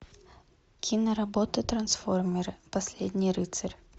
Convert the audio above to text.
киноработа трансформеры последний рыцарь